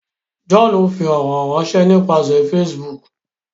John ń fí ọrọ ránṣẹ nípasẹ Facebook.